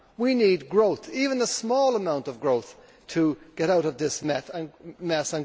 We need growth even a small amount of growth to get out of this mess